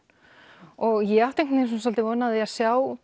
ég átti svolítið von á því að sjá